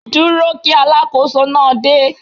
Dúró kí Alákóso náà dé.